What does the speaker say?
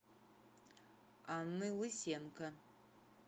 анны лысенко